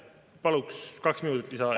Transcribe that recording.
Paluks kaks minutit lisaaega.